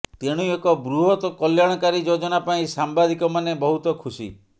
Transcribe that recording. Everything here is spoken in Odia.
ତେଣୁ ଏକ ବୃହତ କଲ୍ୟାଣକାରୀ ଯୋଜନା ପାଇଁ ସାମ୍ବାଦିକମାନେ ବହୁତ ଖୁସି